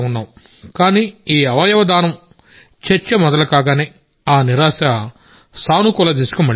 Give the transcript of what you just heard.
కానీ ఈ అవయవ దానం చర్చ మొదలు కాగానే ఆ నిరాశ పాజిటివ్ దిశకు మళ్ళింది